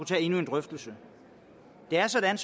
taget endnu en drøftelse det er sådan